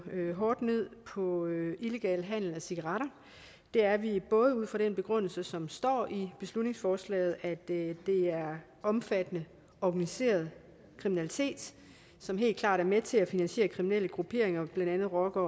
hårdt ned på illegal handel med cigaretter det er vi ud fra den begrundelse som står i beslutningsforslaget at det er omfattende organiseret kriminalitet som helt klart er med til at finansiere kriminelle grupperinger blandt andet rocker